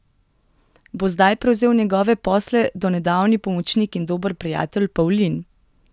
Bo zdaj prevzel njegove posle donedavni pomočnik in dober prijatelj Pavlin?